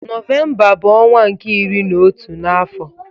Novemba bu onwa nke iri na otu na afo